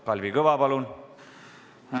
Kalvi Kõva, palun!